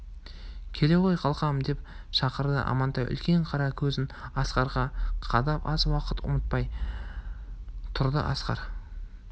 келе ғой қалқам деп шақырды амантай үлкен қара көзін асқарға қадап аз уақыт ұмтылмай тұрды асқар